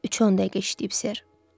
Üçə 10 dəqiqə işləyib ser.